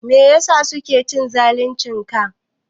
Meyasa suke cin zalin ka?